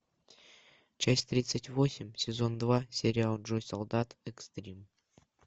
часть тридцать восемь сезон два сериал джо солдат экстрим